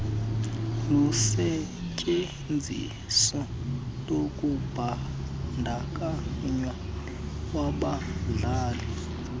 lusetyenziso lokubandakanywa kwabahlali